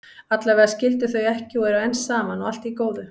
Allavega skildu þau ekki og eru enn saman, og allt í góðu.